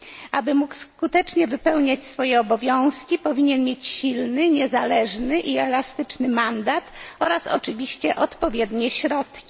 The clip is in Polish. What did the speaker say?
Aby mógł skutecznie wypełniać swoje obowiązki, powinien mieć silny, niezależny i elastyczny mandat oraz oczywiście odpowiednie środki.